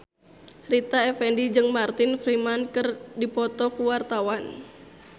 Rita Effendy jeung Martin Freeman keur dipoto ku wartawan